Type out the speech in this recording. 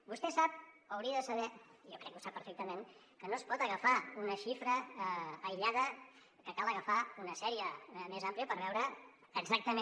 vostè sap o hauria de saber i jo crec que ho sap perfectament que no es pot agafar una xifra aïllada que cal agafar una sèrie més àmplia per veure exactament